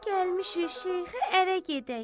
Gəlmişik şeyxə ərə gedək.